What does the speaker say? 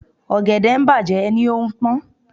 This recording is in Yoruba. Ọ̀gẹ̀dẹ̀ ń bàjẹ́ ẹ ní ó ń pón.